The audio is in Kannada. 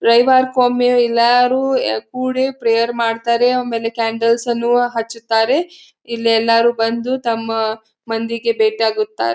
ರವಿವಾರ್ಕೊಮ್ಮಿಯು ಎಲ್ಲಾರೂ ಯ ಕೂಡಿ ಪ್ರೇಯರ್ ಮಾಡತ್ತಾರೆ ಒಮೇಲೆ ಕ್ಯಾಂಡೆಲ್ಸ್ ಅನ್ನುಅ ಹಚ್ಚತ್ತಾರೆ ಇಲ್ಲೇಲ್ಲಾರು ಬಂದು ತಮ್ಮ ಮಂದಿಗೆ ಬೇಟಿ ಆಗುತ್ತಾರ್.